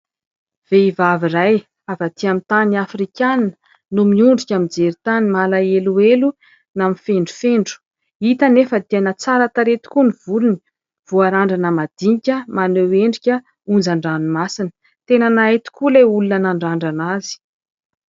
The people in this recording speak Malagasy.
vehivavy iray avy atỳ amin'ny tany afrikana no miondrika mijery tany ,malaheloelo na mifendrofendro ; hita nefa dia tsara tarehy tokoa ny volony voarandrana madinika ,maneho endrika onjan-dranomasina tena nahay tokoa ilay olona nandrandrana azy